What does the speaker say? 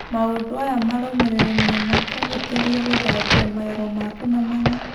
Maũndũ aya marũmĩrĩre no makũhũthĩrie gũthambia magego maku na mani.